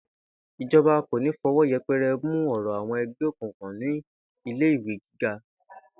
Ìjo̩ba kò ní fo̩wó̩ ye̩pe̩re̩ mu ò̩rò̩ àwo̩n e̩gbé òkùnkùn ní ilé ìwé gíga